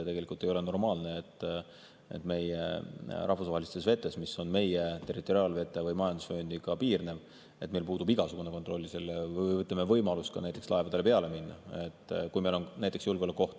Ei ole normaalne, et rahvusvahelistes vetes, mis piirnevad meie territoriaalvete või majandusvööndiga, puudub meil igasugune kontroll, ütleme, võimalus laevadele minna, kui meil on näiteks julgeolekuoht.